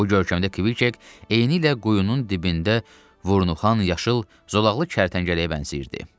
Bu görkəmdə Kviçek eynilə quyunun dibində vurnuxan yaşıl zolaqlı kərtənkələyə bənzəyirdi.